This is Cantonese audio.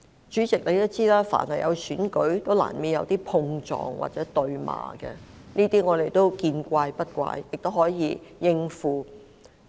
主席也知道，每逢選舉也難免會出現碰撞或對罵的情況，我們對此都見怪不怪，亦可以應付。